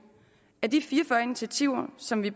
at de fire og fyrre initiativer som vi